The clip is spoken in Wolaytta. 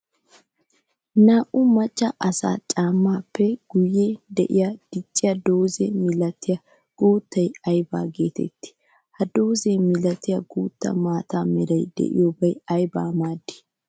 Naa'u maca asaa caamappe guyen de'iya dicciya dooza milattiya guuta aybba geetetti? Ha dooza milattiya guutta maata meray de'iyobay aybba maadi?